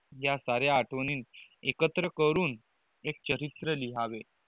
जय सारे आठवणी एकत्र करून एक चरित्र लिहवावे